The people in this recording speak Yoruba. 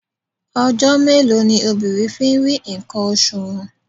Ọjọ́ mélòó ni obìnrin fi ń rí ǹkan oṣù wọn?